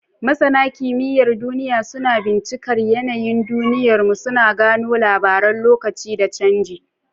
Masana kimiyyar duniya suna bincikar yanayin duniyarmu, suna gano labaran lokaci da canji.